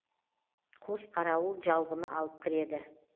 қос қарауыл жалбыны алып кіреді